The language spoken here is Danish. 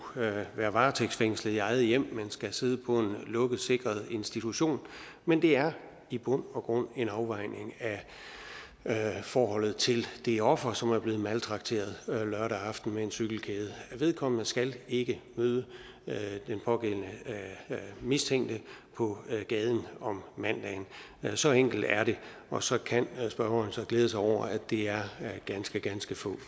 være varetægtsfængslet i eget hjem men skal sidde på en lukket sikret institution men det er i bund og grund en afvejning af forholdet til det offer som er blevet maltrakteret lørdag aften med en cykelkæde vedkommende skal ikke møde den pågældende mistænkte på gaden om mandagen så enkelt er det og så kan spørgeren glæde sig over at det er ganske ganske få